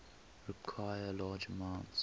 require large amounts